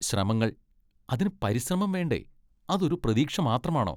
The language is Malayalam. ശ്രമങ്ങൾ? അതിന് പരിശ്രമം വേണ്ടേ, അത് ഒരു പ്രതീക്ഷ മാത്രമാണോ.